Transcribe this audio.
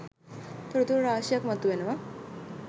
තොරතුරු රාශියක් මතුවෙනවා.